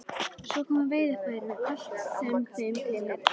Svo komu veiðarfærin og allt sem þeim tilheyrði.